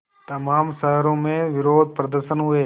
तमाम शहरों में विरोधप्रदर्शन हुए